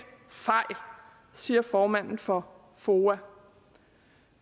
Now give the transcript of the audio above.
fejl siger formanden for foa